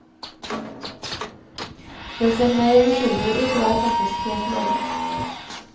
Det ser mer uskyldig ut og er faktisk helt lovlig.